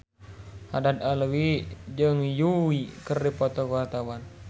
Haddad Alwi jeung Yui keur dipoto ku wartawan